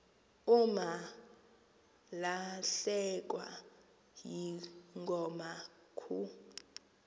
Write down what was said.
umalahlekwa yingoma kuh